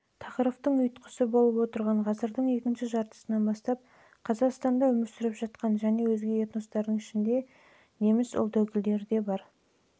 тақырыптың ұйытқысы болып отырған ғасырдың екінші жартысынан бастап қазақстанда өмір сүріп жатқан және өзге этностардың ішінде